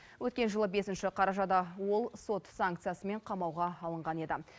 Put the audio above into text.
өткен жылы бесінші қарашада ол сот санкциясымен қамауға алынған еді